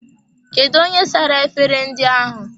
Kedụ onye sara efere ndị ahụ?